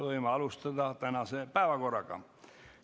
Võime minna tänase päevakorra juurde.